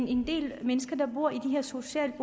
en del mennesker der bor i de her socialt